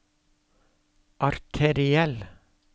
arteriell